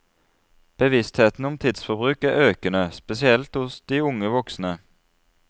Bevisstheten om tidsforbruk er økende, spesielt hos de unge voksne.